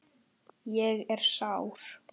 Ég er sár.